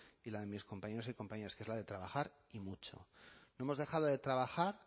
y la de mis compañeros y compañeras que es la de trabajar y mucho no hemos dejado de trabajar